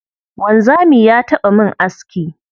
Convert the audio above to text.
Wanzami ya taɓa min aski.